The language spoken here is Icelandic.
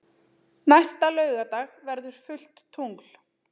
Næsta laugardag verður fullt tungl.